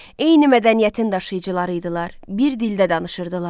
Eyni mədəniyyətin daşıyıcıları idilər, bir dildə də danışırdılar.